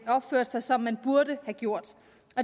opført sig som den burde have gjort